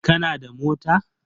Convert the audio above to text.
Kana da mota?